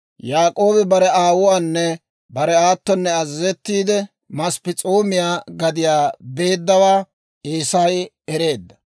Yaak'oobi bare aawuwaanne bare aatonne azazettiide, Masp'p'es'oomiyaa gadiyaa beeddawaa Eesay ereedda.